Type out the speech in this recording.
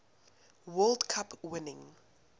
world cup winning